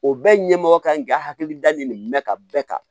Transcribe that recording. O bɛɛ ɲɛmɔgɔ kan k'i hakili da nin de mɛn ka bɛɛ kan